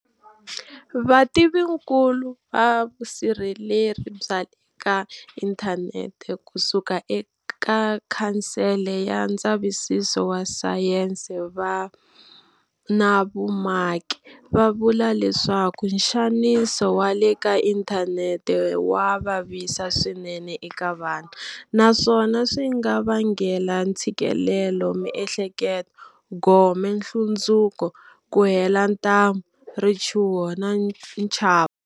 Vativinkulu va vusirheleri bya le ka inthanete kusuka eka Khansele ya Ndzavisiso wa Sayense na Vumaki va vula leswaku nxaniso wa le ka inthanete wa vavisa swinene eka vana naswona swi nga vangela ntshikelelamiehleketo, gome, nhlundzuko, ku hela ntamu, richuho na nchavo.